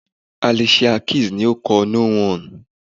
Alicia Keys ni ó kọ 'No one'